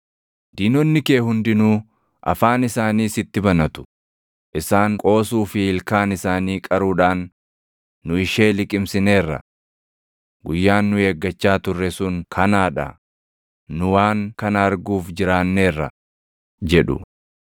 Diinonni kee hundinuu afaan isaanii sitti banatu; isaan qoosuu fi ilkaan isaanii qaruudhaan “Nu ishee liqimsineerra. Guyyaan nu eeggachaa turre sun kanaa dha; nu waan kana arguuf jiraanneerra” jedhu.